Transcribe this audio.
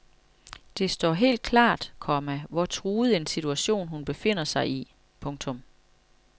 Det står helt klart, komma hvor truet en situation hun befinder sig i. punktum